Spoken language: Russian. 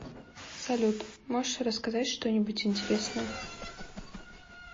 салют можешь рассказать что нибудь интересное